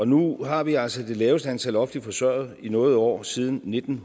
nu har vi altså det laveste antal offentligt forsørgede i noget år siden nitten